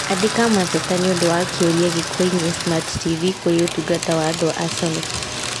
Andĩka mateta nĩũndũ wa kĩũria gĩkoniĩ smart t.v. kũrĩ ũtungata wa andũ wa Sony